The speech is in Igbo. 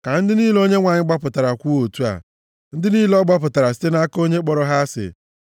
Ka ndị niile Onyenwe anyị gbapụtara kwuo otu a, ndị niile ọ gbapụtara site nʼaka onye kpọrọ ha asị,